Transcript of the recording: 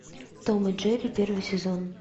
том и джерри первый сезон